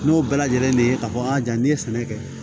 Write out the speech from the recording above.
N'o bɛɛ lajɛlen de ye k'a fɔ a jaa n'i ye sɛnɛ kɛ